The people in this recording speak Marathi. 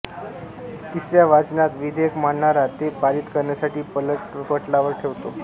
तिसर्या वाचनात विधेयक मांडणारा ते पारित करण्यासाठी पटलावर ठेवतो